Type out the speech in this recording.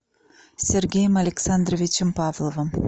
сергеем александровичем павловым